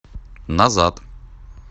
назад